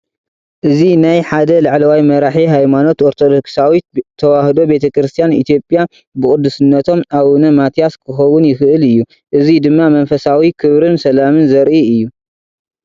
እዚ ናይ ሓደ ላዕለዋይ መራሒ ሃይማኖት ኦርቶዶክሳዊት ተዋህዶ ቤተ ክርስቲያን ኢትዮጵያ (ብቅዱስነቶም ኣቡነ ማትያስ) ክኸውን ይኽእል እዩ። እዚ ድማ መንፈሳዊ ክብርን ሰላምን ዘርኢ እዩ።